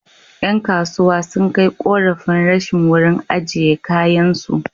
Ƴan kasuwa sun kai ƙorafin rashin wurin ajiye kayansu.